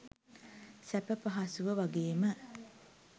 සැප පහසුව වගේම